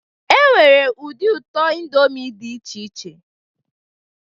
Enwere ụdị ụtọ indomie dị iche iche